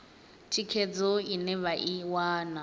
thikhedzo ine vha i wana